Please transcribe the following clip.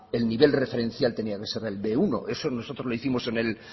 el nivel referencial tenía que ser el be uno eso nosotros lo hicimos en el